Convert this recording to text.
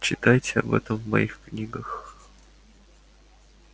читайте об этом в моих книгах